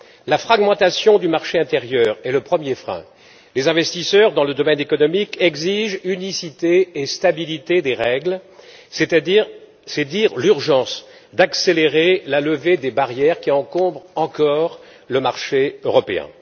La fragmentation du marché intérieur est le premier frein les investisseurs dans le domaine économique exigent unicité et stabilité des règles, c'est dire l'urgence d'accélérer la levée des barrières qui encombrent encore le marché européen.